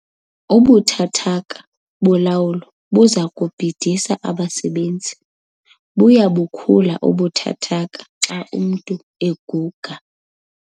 Ubuthathaka bolawulo buza kubhidisa abasebenzi. buya bukhula ubuthathaka xa umntu eguga